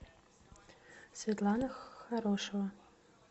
светлана хорошева